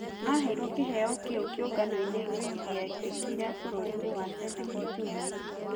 Aheirwo kĩheo kĩu kĩunganoine gĩekekire bũrũrinĩ wa Senego njumaine